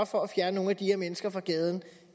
for at fjerne nogle af de her mennesker fra gaden